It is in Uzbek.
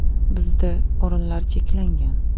Bizda o‘rinlar cheklangan.